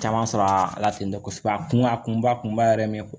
Caman sɔrɔ a la ten tɔ kosɛbɛ a kun a kunba kunba yɛrɛ ye min ye